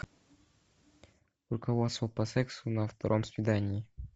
руководство по сексу на втором свидании